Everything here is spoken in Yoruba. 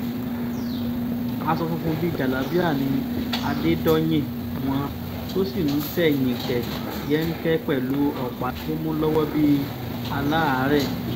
aṣọ funfun bíi jálábíà ni adédọ́yìn wọn tó sì ń tẹ̀yìnkẹ̀ yẹnké pẹ̀lú ọ̀pá tó mú lọ́wọ́ bíi aláàárẹ̀